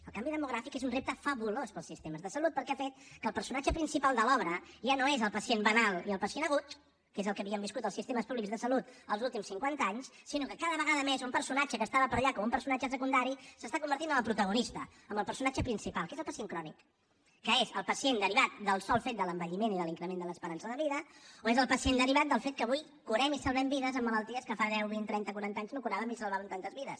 el canvi demogràfic és un repte fabulós per als sistemes de salut perquè ha fet que el personatge principal de l’obra ja no és pacient banal i el pacient agut que és el que havíem viscut als sistemes públics de salut els últims cinquanta anys sinó que cada vegada més un personatge que estava per allà com un personatge secundari s’està convertint en el protagonista en el personatge principal que és el pacient crònic que és el pacient derivat del sol fet de l’envelliment i de l’increment de l’esperança de vida o és el pacient derivat del fet que avui curem i salvem vides en malalties que fa deu vint trenta quaranta anys no curàvem ni salvàvem tantes vides